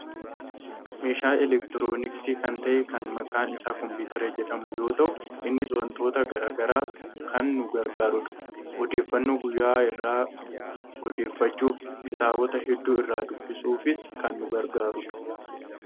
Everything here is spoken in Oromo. meeshaa elektirooniksii kan ta'e kan maqaan isaa kompuutera jedhamu yoo ta'u, innis wantoota gara garaaf kan nu gargaarudha. odeeffannoo guyyuu irraa odeeffachuuf , kitaabota hedduu irraa dubbisuufis kan nu gargaarudha.